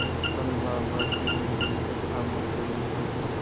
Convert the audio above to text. कल बाबा की ऊँगली को थामे चली थी